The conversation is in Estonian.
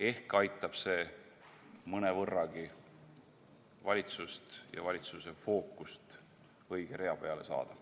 Ehk aitab see mõnevõrragi valitsust ja valitsuse fookust õige rea peale saada.